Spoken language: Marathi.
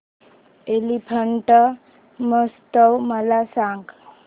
एलिफंटा महोत्सव मला सांग